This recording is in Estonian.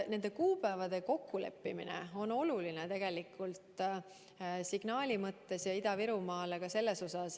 Nende tähtaegade kokkuleppimine on oluline Ida-Virumaale antava signaali mõttes.